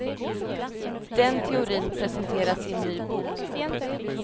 Den teorin presenteras i en ny bok.